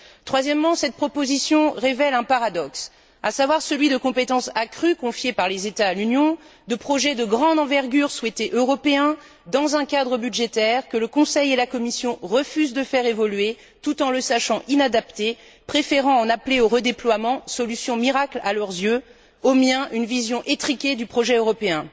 Troisièmement, cette proposition révèle un paradoxe, à savoir celui de compétences accrues, confiées par les États à l'Union, de projets de grande envergure, souhaités européens, dans un cadre budgétaire que le Conseil et la Commission refusent de faire évoluer, tout en le sachant inadapté, préférant en appeler au redéploiement, solution miracle à leurs yeux mais, aux miens, une vision étriquée du projet européen.